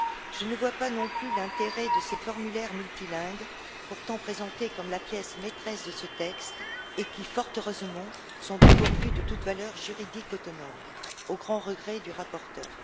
Je ne vois pas non plus l'intérêt de ces formulaires multilingues, pourtant présentés comme la pièce maîtresse de ce texte et qui, fort heureusement, sont dépourvus de toute valeur juridique autonome, au grand regret du rapporteur.